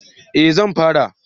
Eh zan fara